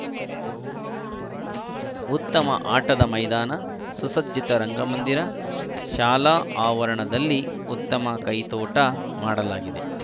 ಉತ್ತಮ ಆಟದ ಮೈದಾನ ಸುಸಜ್ಜಿತ ರಂಗಮಂದಿರ ಶಾಲಾ ಆವರಣದಲ್ಲಿ ಉತ್ತಮ ಕೈತೋಟ ಮಾಡಲಾಗಿದೆ